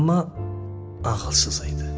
Amma ağılsız idi.